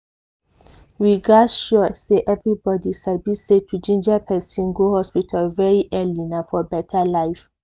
we gas sure say everybody sabi say to ginger person go hospital very early na for beta life.